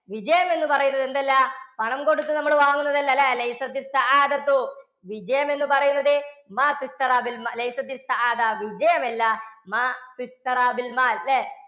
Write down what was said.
വിജയം എന്ന് പറയുന്നത് എന്തല്ല? പണംകൊടുത്ത് നമ്മൾ വാങ്ങുന്നതല്ല അല്ലേ? വിജയം എന്ന് പറയുന്നത് വിജയമല്ല അല്ലേ